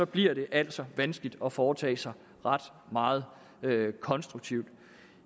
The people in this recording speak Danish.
bliver det altså vanskeligt at foretage sig ret meget konstruktivt